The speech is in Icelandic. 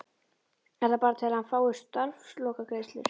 Er það bara til að hann fái starfslokagreiðslur?